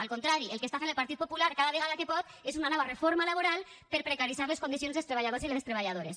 al contrari el que està fent el partit popular cada vegada que pot és una nova reforma laboral per precaritzar les condicions dels treballadors i les treballadores